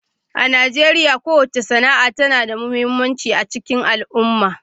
A Najeriya, kowace sana'a tana da mahimmanci a cikin al'umma.